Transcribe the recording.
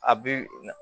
A bi